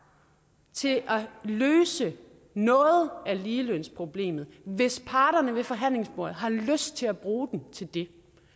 til at løse noget af ligelønsproblemet hvis parterne ved forhandlingsbordet har lyst til at bruge den til det